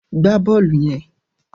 Gbá bọ́ọ̀lù yẹn!